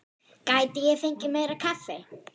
Gæti ég fengið meira kaffi?